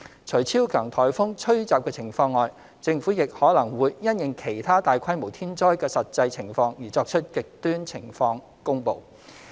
除超強颱風吹襲的情況外，政府亦可能會因應其他大規模天災的實際情況而作出"極端情況"公布。